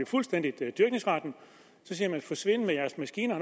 fuldstændig og så siger man forsvind med jeres maskiner